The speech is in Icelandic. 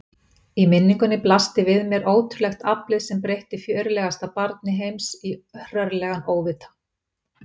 Í minningunni blasti við mér ótrúlegt aflið sem breytti fjörlegasta barni heims í hrörlegan óvita.